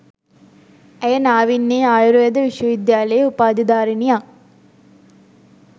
ඇය නාවින්නේ ආයුර්වේද විශ්ව විද්‍යාලයේ උපාධිධාරිණියක්